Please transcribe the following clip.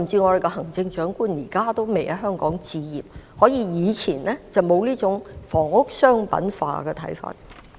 我們的行政長官現在也未有在香港置業，因為我們過往並沒有這種房屋商品化的看法。